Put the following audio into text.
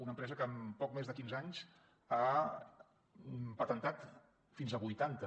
una empresa que en poc més de quinze anys ha patentat fins a vuitanta